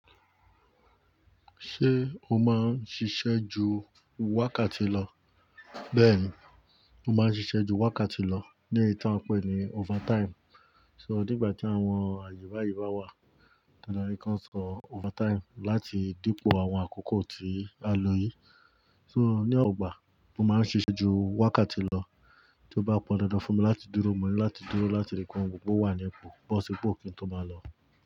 Ṣé o máa ń ṣiṣẹ́ ju wákàtí lọ? Bẹ́ẹ̀ ni, mo máa ń ṣiṣẹ́ ju wákàtí lọ ní èyí tí a ń pè ní overtime. So nígbà tí àwọn àyè bá yìí bá wà, dandan ni kí wọ́n san overtime láti dípò àwọn àkókò tí a ló yí. So ní ọgbà, mo máa ń ṣiṣẹ́ ju wákàtí lọ, tí ó bá pọn dáadáa fún mi láti dúró, mo ní láti dúró láti rí pé ohun gbogbo wà ní ipò, bó si ipo kí n tó máa lọ.